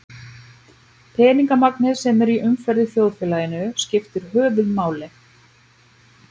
Peningamagnið sem er í umferð í þjóðfélaginu skiptir höfuðmáli.